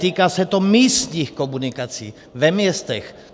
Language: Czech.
Týká se to místních komunikací ve městech.